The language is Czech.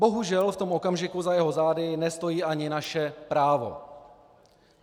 Bohužel v tom okamžiku za jeho zády nestojí ani naše právo.